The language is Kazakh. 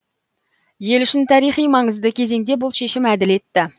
ел үшін тарихи маңызды кезеңде бұл шешім әділетті